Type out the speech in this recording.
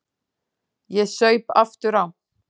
Ég saup aftur á.